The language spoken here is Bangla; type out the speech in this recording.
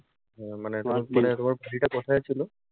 উম মানে তোমার টা কোথায় ছিলো?